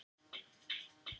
Lág tilboð í vegagerð